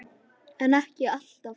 en ekki alltaf